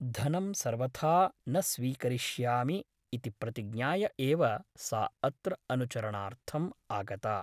धनं सर्वथा न स्वीकरिष्यामि इति प्रतिज्ञाय एव सा अत्र अनुचरणार्थम् आगता ।